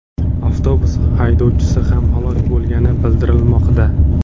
Avtobus haydovchisi ham halok bo‘lgani bildirilmoqda.